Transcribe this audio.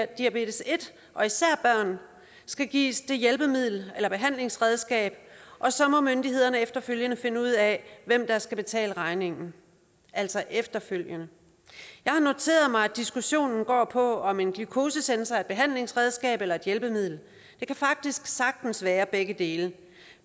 diabetes en og især børn skal gives det hjælpemiddel eller behandlingsredskab og så må myndighederne efterfølgende finde ud af hvem der skal betale regningen altså efterfølgende jeg har noteret mig at diskussionen går på om en glukosesensor er et behandlingsredskab eller et hjælpemiddel det kan faktisk sagtens være begge dele